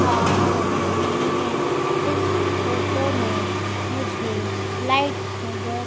आ रही हैं इस फोटो में मुझे लाईट नजर--